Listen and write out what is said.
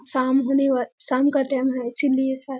शाम होने व शाम का टाइम है इसलिए शायद --